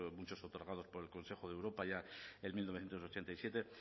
muchos otorgados por el consejo de europa ya en mil novecientos ochenta y siete